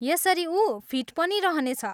यसरी उ फिट पनि रहनेछ।